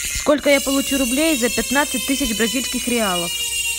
сколько я получу рублей за пятнадцать тысяч бразильских реалов